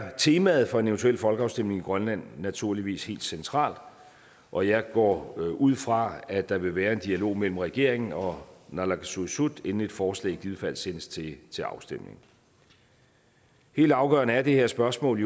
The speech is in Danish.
er temaet for en eventuel folkeafstemning i grønland naturligvis helt centralt og jeg går ud fra at der vil være en dialog mellem regeringen og naalakkersuisut inden et forslag i givet fald sendes til til afstemning helt afgørende er det her spørgsmål